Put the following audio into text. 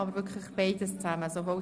Es liegen drei Anträge vor.